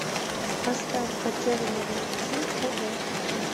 поставь потерянный валентин хд